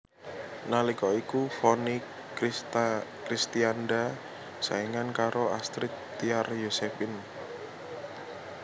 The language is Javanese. Nalika iku Vonny Kristianda saingan karo Astrid Tiar Yosephine